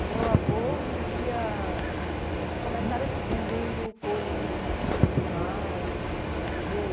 O meu avô vendia, eles começaram assim, vendendo coisas em em animal, entendeu?